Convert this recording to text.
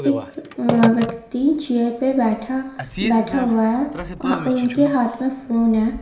एक अ व्यक्ति चेयर पे बैठा बैठा हुआ है ओ उनके हाथ में फ़ोन है.